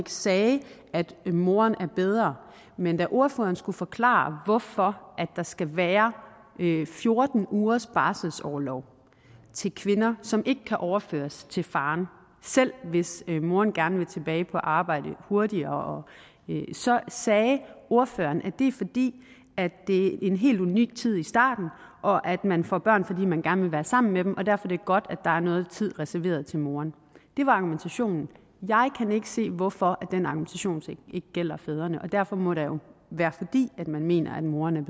sagde at moren er bedre men da ordføreren skulle forklare hvorfor der skal være fjorten ugers barselsorlov til kvinder som ikke kan overføres til faren selv hvis moren gerne vil tilbage på arbejde hurtigere så sagde ordføreren at det er fordi det er en helt unik tid i starten og at man får børn fordi man gerne vil sammen med dem og derfor er det godt at der er noget tid reserveret til moren det var argumentationen jeg kan ikke se hvorfor den argumentation ikke gælder fædrene og derfor må det jo være fordi man mener at moren